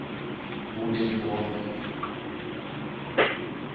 Bodil Bråthen